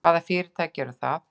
Hvaða fyrirtæki eru það?